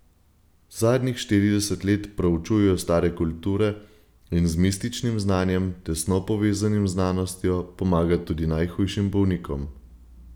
Zadnjih štirideset let proučuje stare kulture in z mističnim znanjem, tesno povezanim z znanostjo, pomaga tudi najhujšim bolnikom.